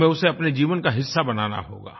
हमें उसे अपने जीवन का हिस्सा बनाना होगा